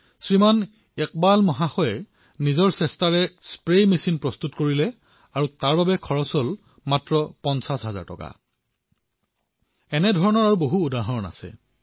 শ্ৰীমান ইকবালে নিজৰ প্ৰয়াসত স্প্ৰেয়াৰ মেচিন প্ৰস্তুত কৰি উলিয়ালে আৰু সেয়াও কেৱল পঞ্চাশ হাজাৰ টকাতে এনে অলেখ উদাহৰণ আছে